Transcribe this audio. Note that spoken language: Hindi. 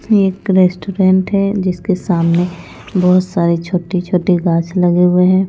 ये एक रेस्टोरेंट है जिसके सामने बहुत सारे छोटे-छोटे घास लगे हुए हैं।